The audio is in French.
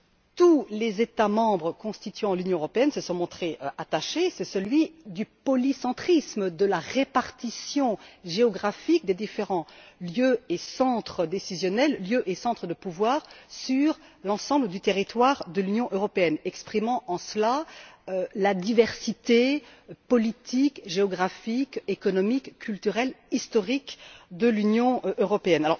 tous les États membres constituant l'Union européenne se sont montrés attachés, à savoir celui du polycentrisme, de la répartition géographique des différents lieux et centres décisionnels, lieux et centres de pouvoir sur l'ensemble du territoire de l'Union européenne, exprimant en cela la diversité politique, géographique, économique, culturelle et historique de l'Union européenne.